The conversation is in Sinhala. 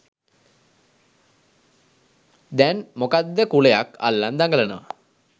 දෑන් මොකක්ද කුලයක් අල්ලන් දගලනවා.